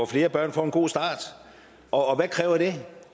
flere børn får en god start og hvad kræver det